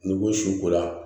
N'i ko su kola